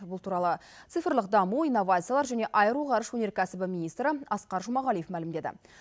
бұл туралы цифрлық даму инновациялар және аэроғарыш өнеркәсібі министрі асқар жұмағалиев мәлімдеді